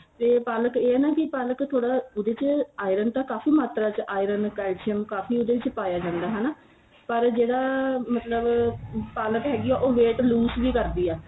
ਤੇ ਪਾਲਕ ਏ ਨਾ ਕੀ ਪਾਲਕ ਥੋੜਾ ਉਹਦੇ ਚ iron ਤਾਂ ਕਾਫੀ ਮਾਤਰਾ ਚ iron calcium ਕਾਫੀ ਉਹਦੇ ਵਿੱਚ ਪਾਇਆ ਜਾਂਦਾ ਹਨਾ ਪਰ ਜਿਹੜਾ ਮਤਲਬ ਪਾਲਕ ਹੈਗੀ ਏ ਉਹ weight loose ਵੀ ਕਰਦੀ ਏ